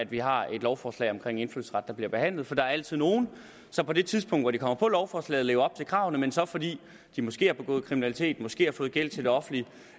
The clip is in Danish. vi har et lovforslag om indfødsret der bliver behandlet for der er altid nogle som på det tidspunkt hvor de kommer på lovforslaget lever op til kravene men så fordi de måske har begået kriminalitet måske har fået gæld til det offentlige